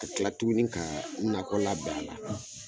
A kila tuguni ka nakɔ labɛn a la